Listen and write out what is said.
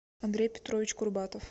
андрей петрович курбатов